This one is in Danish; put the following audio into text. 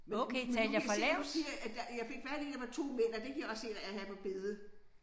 Men nu nu nu kan jeg se du siger at øh jeg fik fat i der var 2 mænd og det kan jeg også se der er her på billedet